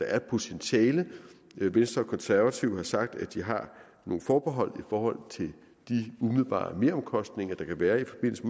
er et potentiale venstre og konservative har sagt at de har nogle forbehold forhold til de umiddelbare meromkostninger der kan være i forbindelse